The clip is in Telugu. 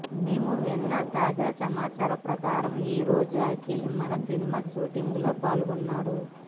మేము విన్న తాజా సమాచారం ప్రకారం ఈ రోజు అఖిల్ మనం సినిమా షూటింగ్ లో పాల్గొన్నాడు